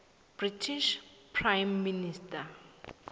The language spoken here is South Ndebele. british prime minister